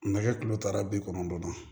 Nɛgɛ kilo ta bi kɔnɔntɔn ma